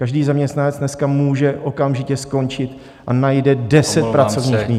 Každý zaměstnanec dneska může okamžitě skončit a najde deset pracovních míst.